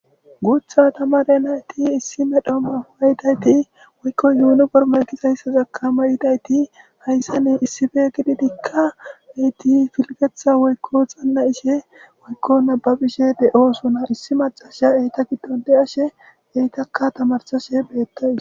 Gutha tamare nayti issi mala mayo mayidi woykon yuniforime gizaysazaka mayidayiti issipe gididika eti pilgetha woykon xana'ishe woykon nababishe de'osona issi mac'ashaya eta gidon de'ashe izaka tamarisashe betawus.